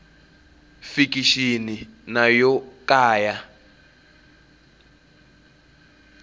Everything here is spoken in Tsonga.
fikixini na yo ka ya